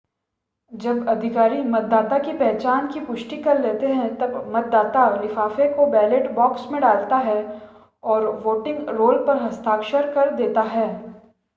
जब अधिकारी मतदाता की पहचान की पुष्टि कर लेते हैं तब मतदाता लिफ़ाफ़े को बैलट बॉक्स में डालता है और वोटिंग रोल पर हस्ताक्षर कर देता है